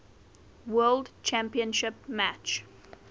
world championship match